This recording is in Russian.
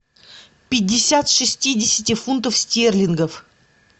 пятьдесят шестидесяти фунтов стерлингов